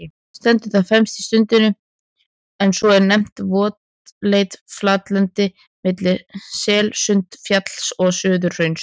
Stendur það fremst í Sundinu, en svo er nefnt votlent flatlendi milli Selsundsfjalls og Suðurhrauns.